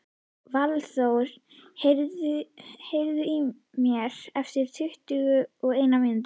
Valþór, heyrðu í mér eftir tuttugu og eina mínútur.